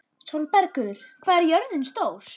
Sólbergur, hvað er jörðin stór?